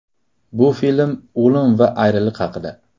Bu film o‘lim va ayriliq haqida.